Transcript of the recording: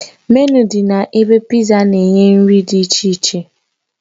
Menịu dị na ebe Pizza na-enye nri dị iche iche